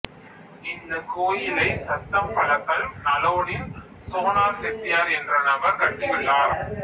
இந்த கோயிலை சத்தம்பலக்கல் நலோனில் சோனார் செட்டியார் என்ற நபர் கட்டியுள்ளார்